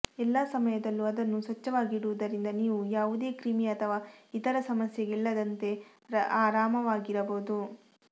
ಎಲ್ಲಾ ಸಮಯದಲ್ಲೂ ಅದನ್ನು ಸ್ವಚ್ಛವಾಗಿಡುವುದರಿಂದ ನೀವು ಯಾವುದೇ ಕ್ರಿಮಿ ಅಥವಾ ಇತರ ಸಮಸ್ಯೆಗಳಿಲ್ಲದಂತೆ ಆರಾಮವಾಗಿರಬಹುದು